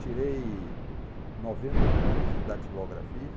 Tirei noventa e poucos em datilografia.